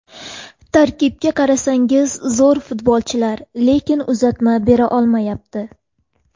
Tarkibga qarasangiz zo‘r futbolchilar, lekin uzatma bera olmayapti.